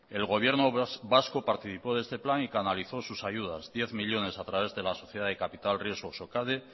el gobierno vasco participó de este plan y canalizó sus ayudas diez millónes a través de la sociedad de capital riesgo socade